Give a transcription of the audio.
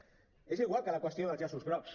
és igual que la qüestió dels llaços grocs